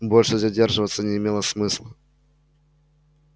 больше задерживаться не имело смысла